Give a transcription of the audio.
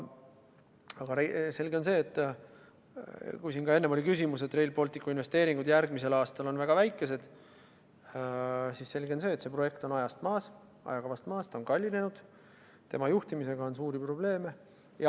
Aga selge on see – enne oli siin küsimus selle kohta, et Rail Balticu investeeringud on järgmisel aastal väga väikesed –, et see projekt on ajakavast maas, ta on kallinenud ja tema juhtimisega on suuri probleeme.